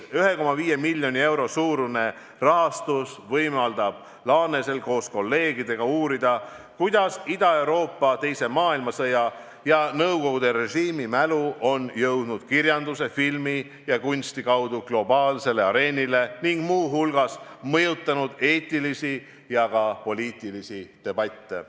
1,5 miljoni euro suurune rahastus võimaldab Laanesel koos kolleegidega uurida, kuidas Ida-Euroopa teise maailmasõja ja nõukogude režiimi mälu on jõudnud kirjanduse, filmi ja kunsti kaudu globaalsele areenile ning muu hulgas mõjutanud eetilisi ja ka poliitilisi debatte.